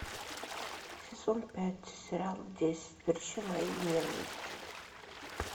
сезон пять сериал десять причин моей ненависти